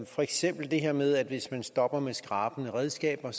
for eksempel det her med at hvis man stopper med skrabende redskaber